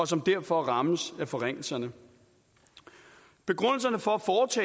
som derfor rammes af forringelserne begrundelserne for